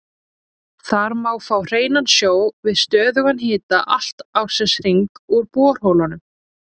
Þar má fá hreinan sjó við stöðugan hita allan ársins hring úr borholum.